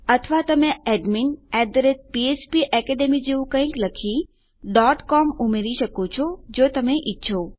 અથવા તમે admin php academy જેવું કઈક લખી com ઉમેરી શકો છો જો તમે ઈચ્છો